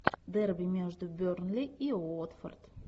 дерби между бернли и уотфорд